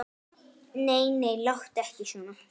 Nei, nei, láttu ekki svona.